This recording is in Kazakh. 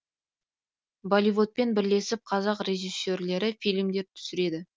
болливудпен бірлесіп қазақ режиссерлері фильмдер түсіреді